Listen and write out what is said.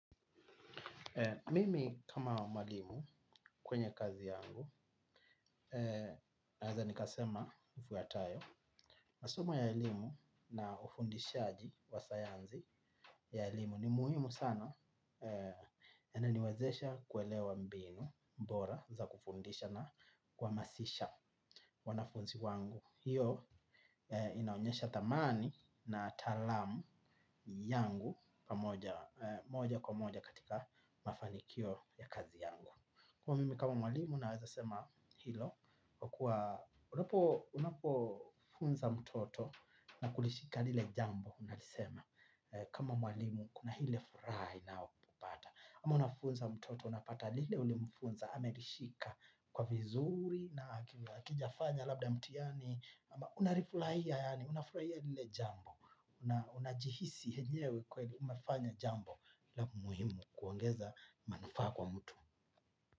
Mimi kama mwalimu kwenye kazi yangu naweza nikasema ifuatayo. Masomo ya elimu na wafundishaji wa sayansi ya elimu ni muhimu sana ananiwezesha kuelewa mbinu bora za kufundisha na kuhamasisha wanafunzi wangu. Hiyo inaonyesha thamani na taalamu yangu pamoja moja kwa moja katika mafanikio ya kazi yangu. Kuwa mimi kama mwalimu naweza sema hilo kwa kuwa unapofunza mtoto na kulishika lile jambo unalisema. Kama mwalimu kuna ile furaha inaokupata. Ama unafunza mtoto unapata lile ulimfunza amelishika kwa vizuri na hakijafanya labda mtihani. Ama unarifuraia yaani unafurahia lile jambo. Unajihisi enyewe kweli umefanya jambo la muhimu kuongeza manufaa kwa mtu.